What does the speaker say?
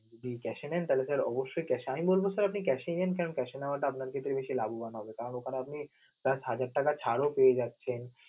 যদি cash এ নেন তাহলে sir অবশ্যই sir এ আমি বলবো আপনি sir cash এই নেন কারণ cash নেওয়াটা আপনার জন্য বেশি লাভবান হবে কারণ ওইখানে আপনি হাজার টাকা ছাড়ও পেয়ে যাচ্ছেন.